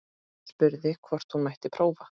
Spurði hvort hún mætti prófa.